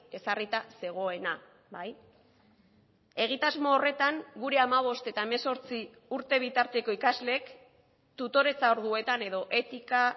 ezarrita zegoena bai egitasmo horretan gure hamabost eta hemezortzi urte bitarteko ikasleek tutoretza orduetan edo etika